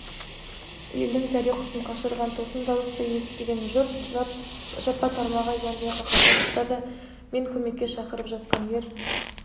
елдің зәре-құтын қашырған тосын дауысты естіген жұрт жапа-тармағай жан-жаққа қаша бастады мен көмекке шақырып жатқан ер